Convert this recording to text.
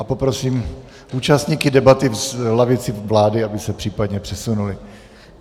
A poprosím účastníky debaty v lavici vlády, aby se případně přesunuli.